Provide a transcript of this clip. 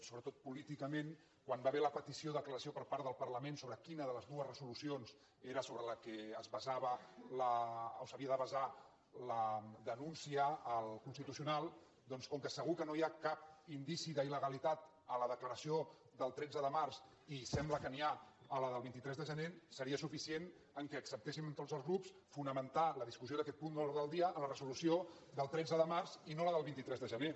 sobretot políticament quan hi va haver la petició d’aclariment per part del parlament sobre quina de les dues resolucions era sobre la qual es basava o s’havia de basar la denúncia al constitucional doncs com que segur que no hi ha cap indici d’il·legalitat a la declaració del tretze de març i sembla que n’hi ha a la del vint tres de gener seria suficient que acceptéssim tots els grups fonamentar la discussió d’aquest punt de l’ordre en la resolució del tretze de març i no en la del vint tres de gener